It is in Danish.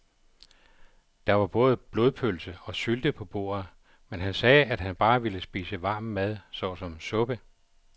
Der var både blodpølse og sylte på bordet, men han sagde, at han bare ville spise varm mad såsom suppe.